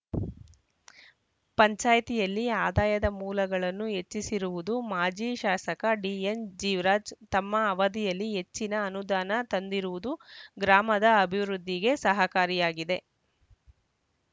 ಪಂಚಾಯಿತಿಯಲ್ಲಿ ಆದಾಯದ ಮೂಲಗಳನ್ನು ಹೆಚ್ಚಿಸಿರುವುದು ಮಾಜಿ ಶಾಸಕ ಡಿಎನ್‌ಜೀವರಾಜ್‌ ತಮ್ಮ ಅವಧಿಯಲ್ಲಿ ಹೆಚ್ಚಿನ ಅನುದಾನ ತಂದಿರುವುದು ಗ್ರಾಮದ ಅಭಿವೃದ್ಧಿಗೆ ಸಹಕಾರಿಯಾಗಿದೆ